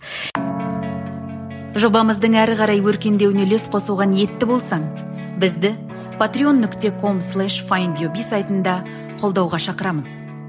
жобамыздың әрі қарай өркендеуіне үлес қосуға ниетті болсаң бізді патрион нүкте ком слеш файндюби сайтында қолдауға шақырамыз